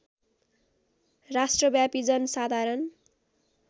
राष्ट्रव्यापी जन साधारण